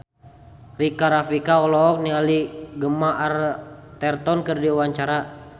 Rika Rafika olohok ningali Gemma Arterton keur diwawancara